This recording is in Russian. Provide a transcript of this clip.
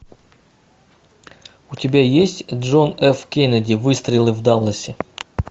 у тебя есть джон ф кеннеди выстрелы в далласе